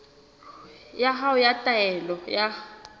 ya hao ya taelo ya